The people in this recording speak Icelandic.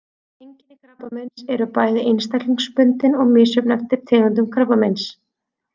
Einkenni krabbameins eru bæði einstaklingsbundin og misjöfn eftir tegundum krabbameins.